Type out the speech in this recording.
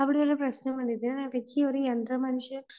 അവിടെ ഒരു പ്രശ്നം വരുന്നത് ഈയൊരു യന്ത്രമനുഷ്യൻ